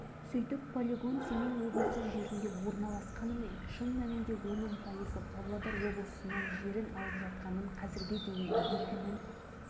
өйткені соның алдында ғана абыралы ауданы таратылып ел-жұрттың мазасын алған қорғаныс министрлігі бұл жолы сыпайыгершілік танытқансиды